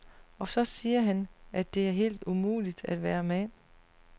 Og så siger han, at det er helt umuligt at være mand.